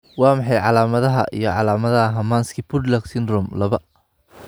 Waa maxay calaamadaha iyo calaamadaha Hermansky Pudlak syndrome laba?